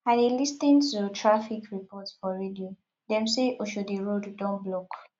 i dey lis ten to traffic report for radio dem say oshodi road don block